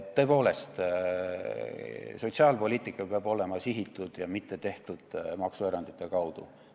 Tõepoolest, sotsiaalpoliitika peab olema sihitud ja mitte tehtud maksuerandite kaudu.